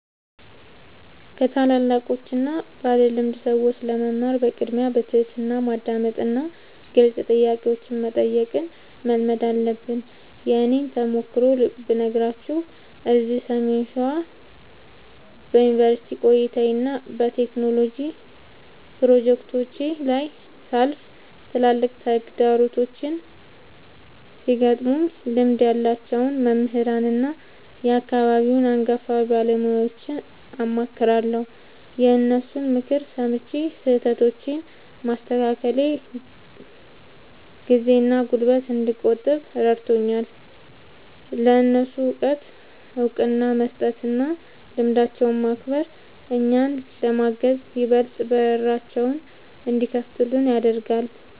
ከታላላቆችና ባለልምድ ሰዎች ለመማር በቅድሚያ በትሕትና ማዳመጥንና ግልጽ ጥያቄዎችን መጠየቅን መልመድ አለብን። የእኔን ተሞክሮ ብነግራችሁ፤ እዚህ ሰሜን ሸዋ በዩኒቨርሲቲ ቆይታዬና በቴክኖሎጂ ፕሮጀክቶቼ ላይ ሳልፍ፣ ትላልቅ ተግዳሮቶች ሲገጥሙኝ ልምድ ያላቸውን መምህራንና የአካባቢውን አንጋፋ ባለሙያዎችን አማክራለሁ። የእነሱን ምክር ሰምቼ ስህተቶቼን ማስተካከሌ ጊዜና ጉልበት እንድቆጥብ ረድቶኛል። ለእነሱ እውቀት እውቅና መስጠትና ልምዳቸውን ማክበር፣ እኛን ለማገዝ ይበልጥ በራቸውን እንዲከፍቱልን ያደርጋል።